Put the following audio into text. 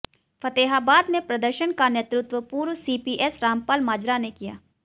फतेहाबाद में प्रदर्शन का नेतृत्व पूर्व सीपीएस रामपाल माजरा ने किया